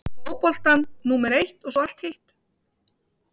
Fá fótboltann númer eitt og svo allt hitt?